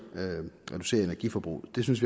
energiforbruget det synes